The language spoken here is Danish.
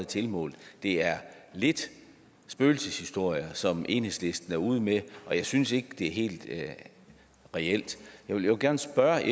tilmålt det er lidt spøgelseshistorier som enhedslisten er ude med og jeg synes ikke det er helt reelt jeg vil gerne spørge